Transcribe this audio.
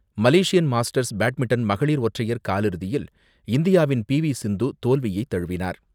Malaysian masters badminton மகளிர் ஒற்றையர் காலிறுதியில் இந்தியாவின் பி.வி.சிந்து தோல்வியை தழுவினார்.